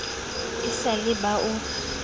e sa le ba o